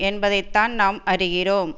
என்பதைத்தான் நாம் அறிகிறோம்